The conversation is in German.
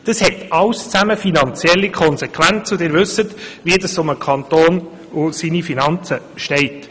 Dies alles hat finanzielle Konsequenzen, und Sie wissen, wie es um den Kanton und seine Finanzen steht.